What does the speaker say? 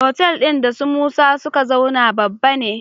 Otal din da su musa suka zauna babba ne